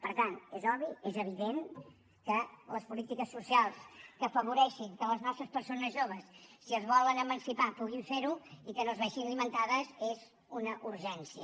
per tant és obvi és evident que les polítiques socials que afavoreixin que les nostres persones joves si es volen emancipar puguin fer ho i que no es vegin limitades són una urgència